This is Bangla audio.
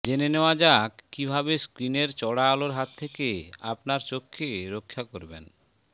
জেনে নেওয়া যাক কী ভাবে স্ক্রিনের চড়া আলোর হাত থেকে আপনার চোখকে রক্ষা করবেন